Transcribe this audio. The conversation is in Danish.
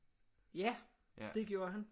Ja det gjorde han